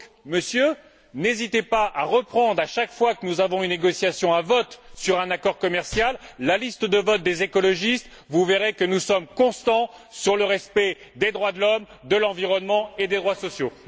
Monsieur, n'hésitez donc pas à reprendre, à chaque fois que nous avons un vote sur un accord commercial, la liste de vote des écologistes, vous verrez que nous sommes constants sur le respect des droits de l'homme, de l'environnement et des droits sociaux.